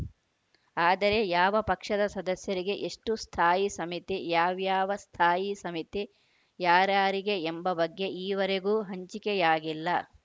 ಆದರೆ ಯಾವ ಪಕ್ಷದ ಸದಸ್ಯರಿಗೆ ಎಷ್ಟುಸ್ಥಾಯಿ ಸಮಿತಿ ಯಾವ್ಯಾವ ಸ್ಥಾಯಿ ಸಮಿತಿ ಯಾರಾರಿಗೆ ಎಂಬ ಬಗ್ಗೆ ಈವರೆಗೂ ಹಂಚಿಕೆಯಾಗಿಲ್ಲ